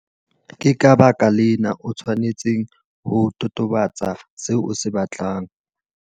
Ke ka baka lena o tshwanetseng ho totobatsa seo o se batlang.